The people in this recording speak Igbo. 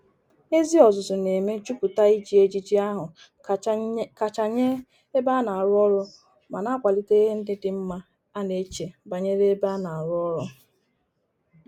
Ezi ozuzu na-eme juputa Iji ejiji ahu kacha nye ebe a na-aru oru ma na-akwalite ihe ndi di mma a na-eche banyere ebe a na-aru oru.